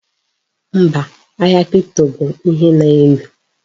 Mba, ahia kripto bụ ihe na-ewu.